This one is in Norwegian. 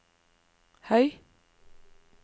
høy